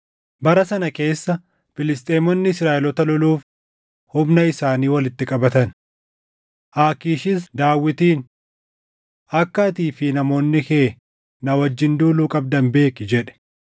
Bara sana keessa Filisxeemonni Israaʼeloota loluuf humna isaanii walitti qabatan. Aakiishis Daawitiin, “Akka atii fi namoonni kee na wajjin duuluu qabdan beeki” jedhe.